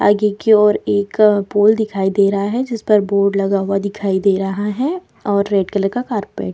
आगे की और एक अ पोल दिखाई दे रहा है जिस पर बोर्ड लगा हुआ दिखाई दे रहा है और रेड कलर का कॉरपेट .